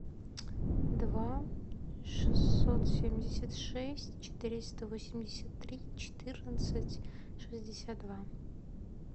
два шестьсот семьдесят шесть четыреста восемьдесят три четырнадцать шестьдесят два